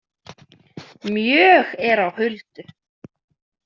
Mjög er á huldu.